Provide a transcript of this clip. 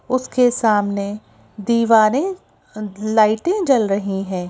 उसके सामने दीवारें लाइटें जल रही हैं।